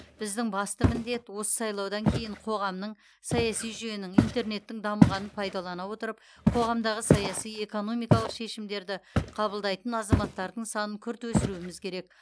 біздің басты міндет осы сайлаудан кейін қоғамның саяси жүйенің интернеттің дамығанын пайдалана отырып қоғамдағы саяси экономикалық шешімдерді қабылдайтын азаматтардың санын күрт өсіруіміз керек